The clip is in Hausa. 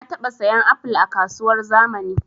Na taɓa sayan apol a kasuwar zamani